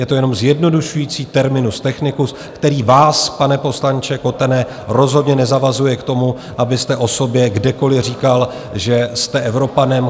Je to jenom zjednodušující terminus technicus, který vás, pane poslanče Kotene, rozhodně nezavazuje k tomu, abyste o sobě kdekoliv říkal, že jste Evropanem.